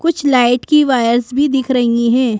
कुछ लाइट की वायर्स भी दिख रही हैं।